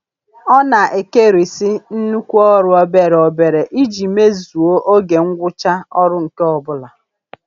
Ọ na-ekerisị nnukwu ọrụ obere obere iji mezuo oge ngwụcha ọrụ nke ọbụla.